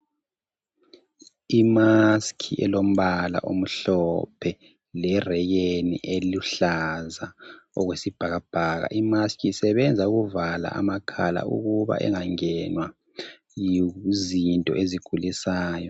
Imask elombala omhlophe lerekeni eluhlaza okwesibhakabhaka. Imaski isebenza ukuvala amakhala ukuba engangenwa yizinto ezigulisayo .